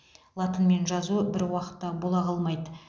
латынмен жазу бір уақытта бола қалмайды